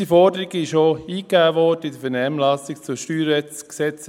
Unsere Forderung wurde auch in der Vernehmlassung zur StG-Revision 2021 eingegeben.